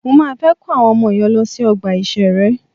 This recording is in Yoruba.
Mọ máa fẹ́ kó àwọn ọmọ yen lọ sí ọgbà ìṣẹ̀rẹ́.